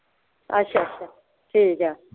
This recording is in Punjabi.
ਅੱਛਾ ਅੱਛਾ ਠੀਕ ਆ।